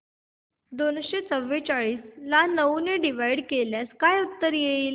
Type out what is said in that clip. दोनशे चौवेचाळीस ला नऊ ने डिवाईड केल्यास काय उत्तर येईल